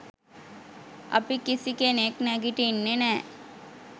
අපි කිසිකෙනෙක් නැගිටින්නෙ නෑ